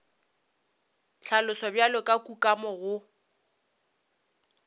hlaloswa bjalo ka kukamo go